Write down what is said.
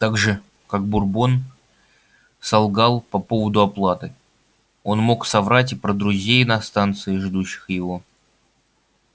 так же как бурбон солгал по поводу оплаты он мог соврать и про друзей на станции ждущих его